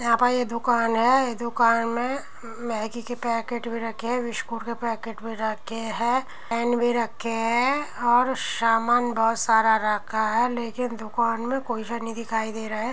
यहाँ पर ये दुकान है। दुकान में मैगी के पैकेट भी रखे हैं बिस्कुट के पैकेट भी रखे हैं पेन भी रखे हैं और सामान बहोत सारे रखा है लेकिन दुकान में कोई दिखाई नहीं दे रहा है।